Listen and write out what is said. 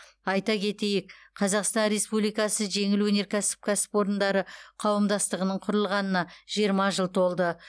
айта кетейік қазақстан республикасы жеңіл өнеркәсіп кәсіпорындары қауымдастығының құрылғанына жиырма жыл толды